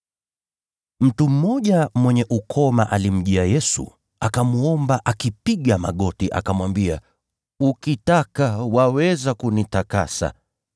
Mtu mmoja mwenye ukoma alimjia Yesu, akamwomba akipiga magoti, akamwambia, “Ukitaka, waweza kunitakasa.”